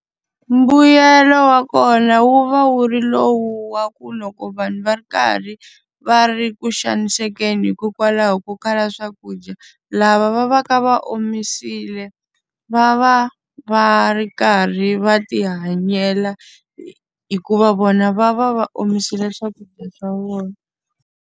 Mbuyelo wa kona wu va wu ri lowu wa ku loko vanhu va ri karhi va ri ku xanisekeni hikokwalaho ko kala swakudya, lava va va ka va omisile va va va ri karhi va tihanyela hikuva vona va va va omisile swakudya swa vona.